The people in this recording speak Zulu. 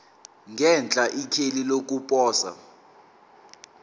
ngenhla ikheli lokuposa